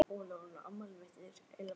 Híram, hvað er á dagatalinu í dag?